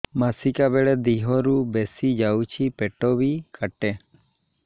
ମାସିକା ବେଳେ ଦିହରୁ ବେଶି ଯାଉଛି ପେଟ ବି କାଟେ